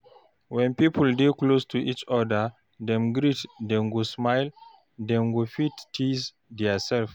When pipo wey dey close to each oda dey greet dem go smile, dem fit tease theirself